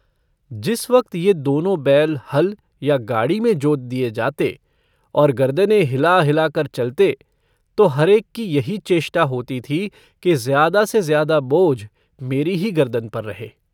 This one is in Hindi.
जिस वक्त यह दोनों बैल हल या गाड़ी में जोत दिए जाते और गरदने हिला-हिलाकर चलते तो हर-एक की यही चेष्टा होती थी कि ज़्यादा-से-ज़्यादा बोझ मेरी ही गर्दन पर रहे।